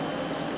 Salam əleykum.